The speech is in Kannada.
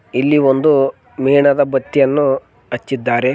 ಇಲ್ಲಿ ಒಂದು ಮೇಣದ ಬತ್ತಿಯನ್ನು ಹಚ್ಚಿದ್ದಾರೆ.